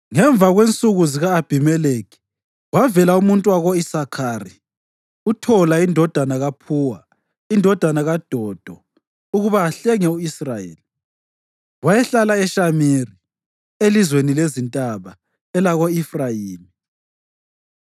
Ngemva kwensuku zika-Abhimelekhi kwavela umuntu wako-Isakhari, uThola indodana kaPhuwa, indodana kaDodo ukuba ahlenge u-Israyeli. Wayehlala eShamiri, elizweni lezintaba elako-Efrayimi.